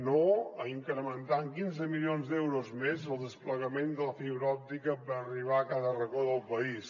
no a incrementar en quinze milions d’euros més el desplegament de la fibra òptica per arribar a cada racó del país